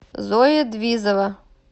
зоя двизова